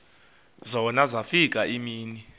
zona zafika iimini